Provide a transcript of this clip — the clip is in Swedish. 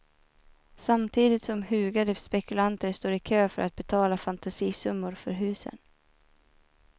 Samtidigt som hugade spekulanter står i kö för att betala fantasisummor för husen.